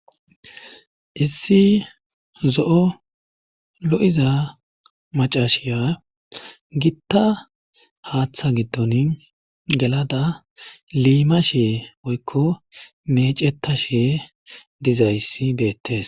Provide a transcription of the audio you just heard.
issi zo7o lo7iza macashiya gitta haaththa giddon gelada liima shee boykko meeceta shee dizayssi beettes